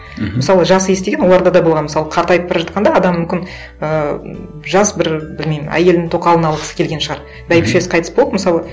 мхм мысалы жас иіс деген оларда да болған мысалы қартайып бара жатқанда адам мүмкін ыыы м жас бір білмеймін әйелін тоқалын алғысы келеген шығар бәйбішесі қайтыс болып мысалы